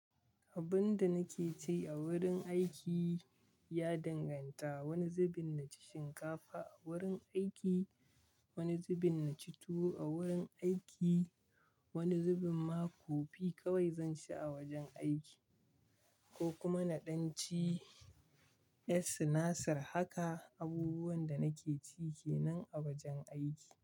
Abun da nake ci a wurin aiki ya danganta. Wani zubin na ci shinkafa a wurin aiki, wani zubin na ci tuwo a wurin aiki, wani zubin ma kofi kawai zan ci a wajen aiki ko kuma na ɗan ci 'ƴar sinasir. Haka abubuwan da nake ci kenan a wajen aiki.